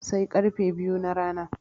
Sai karfe biyu na rana